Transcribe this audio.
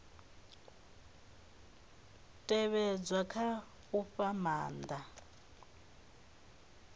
tevhedzwa kha u fha maanda